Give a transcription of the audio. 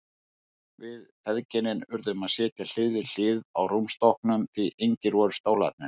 Við feðginin urðum að sitja hlið við hlið á rúmstokknum því engir voru stólarnir.